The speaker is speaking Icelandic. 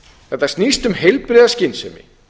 þetta snýst um heilbrigða skynsemi